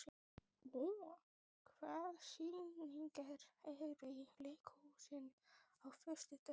Úa, hvaða sýningar eru í leikhúsinu á föstudaginn?